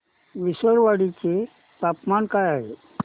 विसरवाडी चे तापमान काय आहे